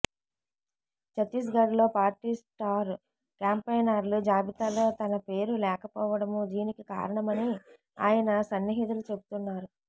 చత్తీస్గఢ్ లో party star క్యాంపెయినర్ల జాబితాలో తన పేరు లేకపోవడమూ దీనికి కారణమని ఆయన సన్నిహితులు చెబుతున్నారు